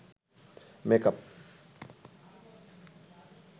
makeup